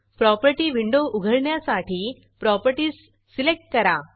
property window उघडण्यासाठी properties properties select करा